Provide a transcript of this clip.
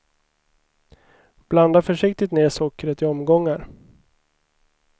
Blanda försiktigt ner sockret i omgångar.